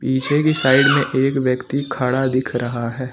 पीछे की साइड में एक व्यक्ति खड़ा दिख रहा है।